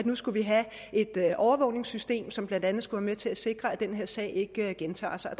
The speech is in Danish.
nu skulle have et overvågningssystem som blandt andet skal være med til at sikre at den her sag ikke gentager sig og